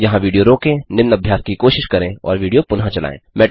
यहाँ विडियो रोकें निम्न अभ्यास की कोशिश करें और विडियो पुनः चलायें